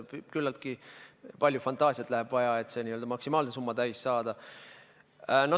Küllaltki palju fantaasiat läheb vaja, et see maksimaalne summa täis saada.